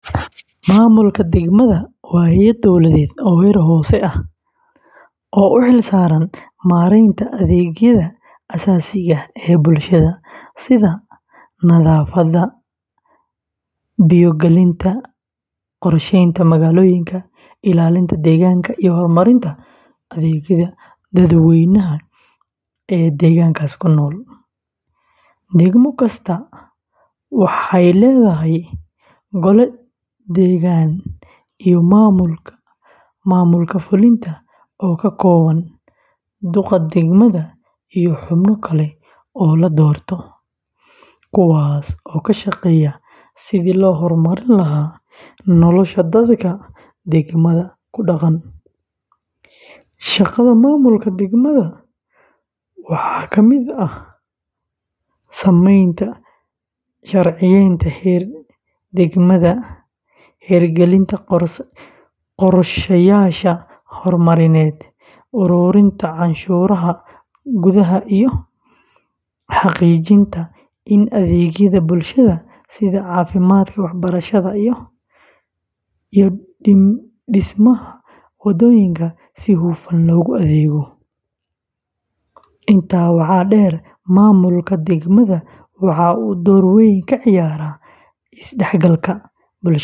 Maamulka degmada waa hay’ad dowladeed oo heer hoose ah, oo u xil saaran maareynta adeegyada aasaasiga ah ee bulshada, sida nadaafadda, biyo gelinta, qorsheynta magaalooyinka, ilaalinta deegaanka, iyo horumarinta adeegyada dadweynaha ee deegaankaas ku nool. Degmo kastaa waxay leedahay gole deegaan iyo maamulka fulinta oo ka kooban duqa degmada iyo xubno kale oo la doorto, kuwaas oo ka shaqeeya sidii loo horumarin lahaa nolosha dadka degmada ku dhaqan. Shaqada maamulka degmada waxaa ka mid ah samaynta sharciyeynta heer degmada, hirgelinta qorshayaasha horumarineed, ururinta canshuuraha gudaha, iyo xaqiijinta in adeegyada bulshada sida caafimaadka, waxbarashada, iyo dhismaha wadooyinka si hufan loogu adeego. Intaa waxaa dheer, maamulka degmada waxa uu door weyn ka ciyaaraa isdhexgalka.